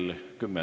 Kõike head!